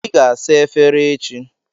Ị ga-asa efere echi.